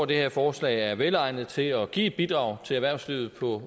det her forslag er velegnet til at give et bidrag til erhvervslivet på